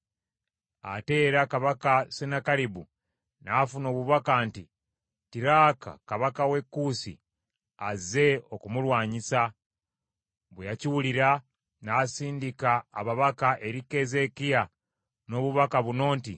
Ate era kabaka Sennakeribu n’afuna obubaka nti Tiraaka kabaka w’e Kuusi azze okumulwanyisa. Bwe yakiwulira n’asindika ababaka eri Keezeekiya n’obubaka buno nti,